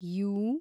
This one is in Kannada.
ಯೂ